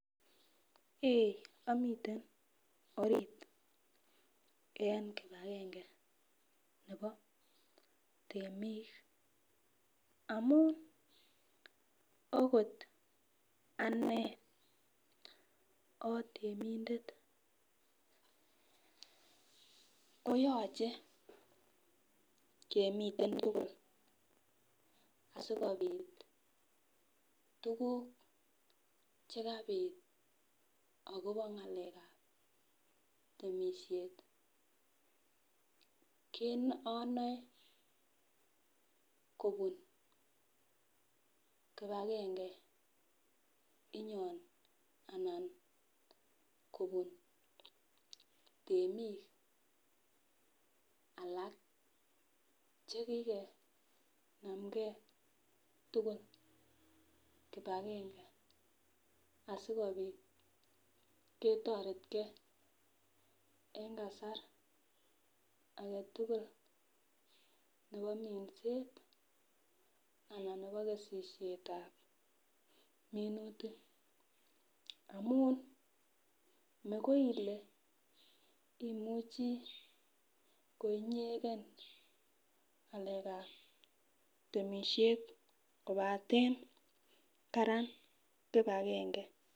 Eeeh omiten orit eng kipagenge nebo temik amun okot ane otemindet koyoche kemiten tugul asikobit tukuk chekabit agobo ngalekab temisiet keno onoe kobun kipagenge inyon anan kobun temik alak chekikenamgen tugul kipagenge asikobit ketoretgen eng kasar agetugulnebo minset anan nebo kesisietab minutik amun mekoi Ile imuche koinyegen ngalekab temisiet kobaten Karan kipagenge.